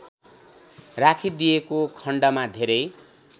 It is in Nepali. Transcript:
राखिदिएको खण्डमा धेरै